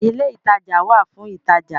ilé ìtajà wà fún ìtajà